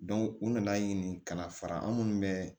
u nana ɲini ka na fara an minnu bɛ